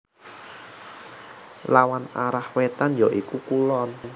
Lawan arah wétan ya iku kulon